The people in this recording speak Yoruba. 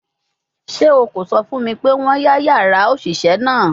Ṣe o ko sọ fun mi pe wọn ya yara oṣiṣẹ naa?